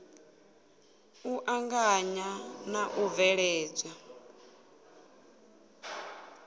u anganya na u bveledzwa